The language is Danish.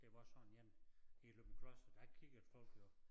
Der var sådan én i Løgumkloster der kiggede folk jo